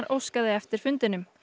óskaði eftir fundinum